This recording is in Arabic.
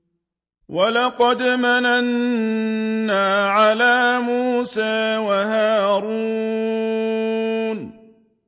وَلَقَدْ مَنَنَّا عَلَىٰ مُوسَىٰ وَهَارُونَ